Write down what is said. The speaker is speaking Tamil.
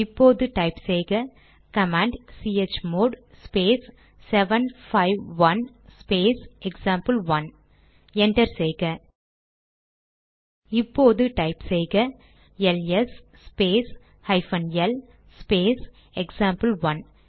இப்போது டைப் செய்ககமாண்ட் C H mod space 751 space example 1 enter செய்க இப்போது டைப் செய்க L S space hyphen L space example one